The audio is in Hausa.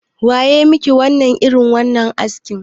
Wa ya maka irin wannan askin?